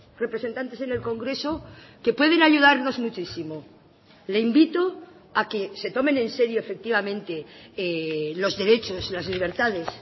representantes en el congreso que pueden ayudarnos muchísimo le invito a que se tomen en serio efectivamente los derechos las libertades